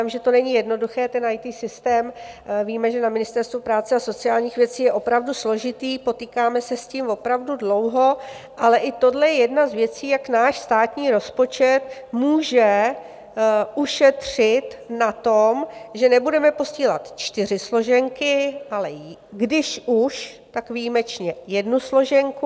Vím, že to není jednoduché, ten IT systém, víme, že na Ministerstvu práce a sociálních věcí je opravdu složitý, potýkáme se s tím opravdu dlouho, ale i tohle je jedna z věcí, jak náš státní rozpočet může ušetřit na tom, že nebudeme posílat čtyři složenky, ale když už, tak výjimečně jednu složenku.